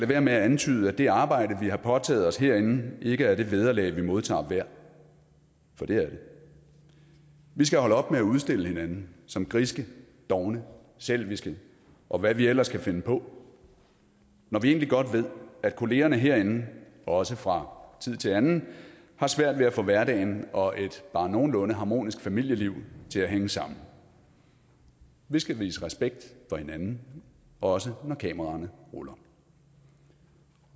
være med at antyde at det arbejde vi har påtaget os herinde ikke er det vederlag vi modtager værd for det er det vi skal holde op med at udstille hinanden som griske dovne selviske og hvad vi ellers kan finde på når vi egentlig godt ved at kollegaerne herinde også fra tid til anden har svært ved at få hverdagen og et bare nogenlunde harmonisk familieliv til at hænge sammen vi skal vise respekt for hinanden også når kameraerne ruller